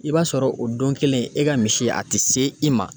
I b'a sɔrɔ o don kelen, e ka misi a ti se i ma.